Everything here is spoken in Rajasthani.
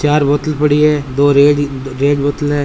चार बोतल पड़ी है दो रेड है एक बोतल है।